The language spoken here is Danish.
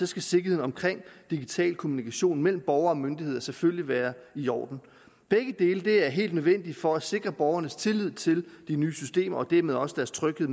skal sikkerheden omkring digital kommunikation mellem borgere og myndigheder selvfølgelig være i orden begge dele er helt nødvendigt for at sikre borgernes tillid til de nye systemer og dermed også deres tryghed